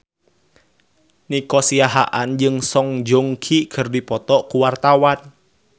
Nico Siahaan jeung Song Joong Ki keur dipoto ku wartawan